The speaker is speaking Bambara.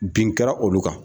Bin kɛra olu kan.